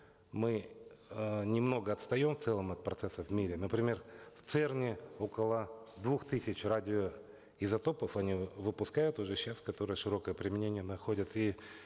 мы э немного отстаем в целом от процессов в мире например в церн е около двух тысяч радиоизотопов они выпускают уже сейчас которые широкое применение находят и